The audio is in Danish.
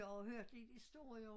Jeg har jo hørt lidt historier